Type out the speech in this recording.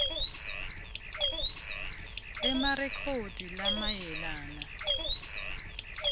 b emarekhodi lamayelana